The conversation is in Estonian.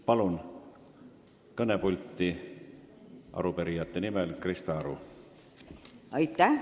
Palun kõnepulti arupärijate esindaja Krista Aru!